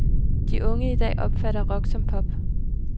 De unge i dag opfatter rock som pop.